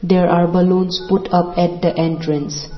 there are balloons put up at the entrance.